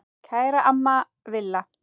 Kæra amma Villa.